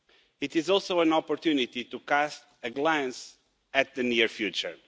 It is also an opportunity to cast a glance at the near future.